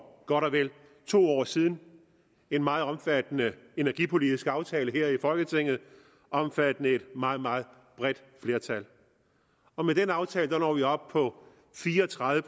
godt og vel to år siden en meget omfattende energipolitisk aftale her i folketinget omfattende et meget meget bredt flertal og med den aftale når vi op på fire og tredive